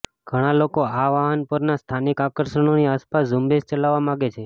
ઘણા લોકો આ વાહન પરના સ્થાનિક આકર્ષણોની આસપાસ ઝુંબેશ ચલાવવા માગે છે